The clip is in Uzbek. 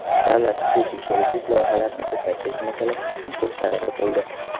Davlat-xususiy sheriklik loyihalarini ko‘paytirish masalasiga ham to‘xtalib o‘tildi.